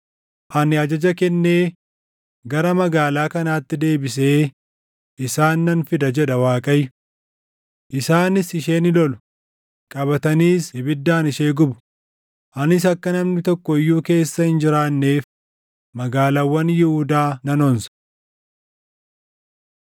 Ani ajaja kennee, gara magaalaa kanaatti deebisee isaan nan fida jedha Waaqayyo. Isaanis ishee ni lolu; qabataniis ibiddaan ishee gubu. Anis akka namni tokko iyyuu keessa hin jiraanneef magaalaawwan Yihuudaa nan onsa.”